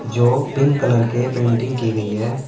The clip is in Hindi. जो पिंक कलर के पेंटिंग की गई है।